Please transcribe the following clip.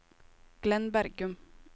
Glenn Bergum